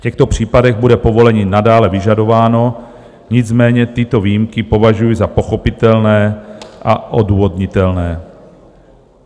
V těchto případech bude povolení nadále vyžadováno, nicméně tyto výjimky považuji za pochopitelné a odůvodnitelné.